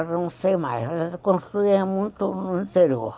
Agora não sei mais, mas construía muito no interior.